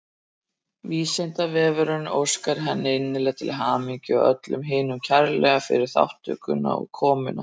Vísindavefurinn óskar henni innilega til hamingju og öllum hinum kærlega fyrir þátttökuna og komuna.